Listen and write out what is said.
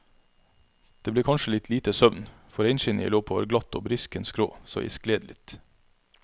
Det ble kanskje litt lite søvn, for reinskinnet jeg lå på var glatt og brisken skrå, så jeg skled litt.